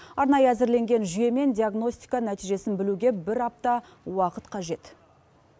арнайы әзірленген жүйемен диагностика нәтижесін білуге бір апта уақыт қажет